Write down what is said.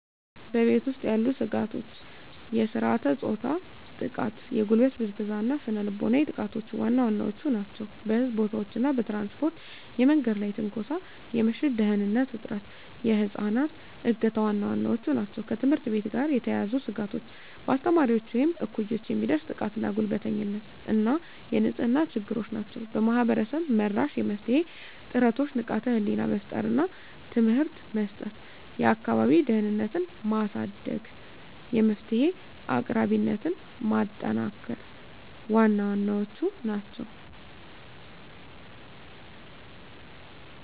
በቤት ውስጥ ያሉ ስጋቶች የሥርዓተ-ፆታ ጥቃ፣ የጉልበት ብዝበዛ እና ስነ ልቦናዊ ጥቃቶች ዋና ዋናዎቹ ናቸው። በሕዝብ ቦታዎች እና በትራንስፖርት የመንገድ ላይ ትንኮሳ፣ የምሽት ደህንንነት እጥረት፣ የህፃናት እገታ ዋና ዋናዎቹ ናቸው። ከትምህርት ቤት ጋር የተያያዙ ስጋቶች በአስተማሪዎች ወይም እኩዮች የሚደርስ ጥቃትና ጉልበተኝነት እና የንጽህና ችግሮች ናቸው። ማህበረሰብ-መራሽ የመፍትሄ ጥረቶች ንቃተ ህሊና መፍጠር እና ትምህርት መስጠት፣ የአካባቢ ደህንነትን ማሳደግ፣ የመፍትሄ አቅራቢነትን ማጠናከር ዋና ዋናዎቹ ናቸው።